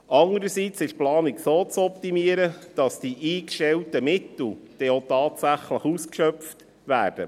Andererseits ist die Planung so zu optimieren, dass die eingestellten Mittel auch tatsächlich ausgeschöpft werden.